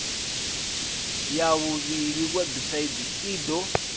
ya vhuvhili website i do